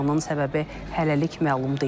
Yanğının səbəbi hələlik məlum deyil.